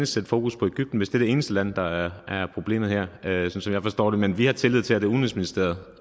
sætte fokus på egypten hvis det er det eneste land der er problemet her sådan som jeg forstår det men vi har tillid til at det er udenrigsministeriet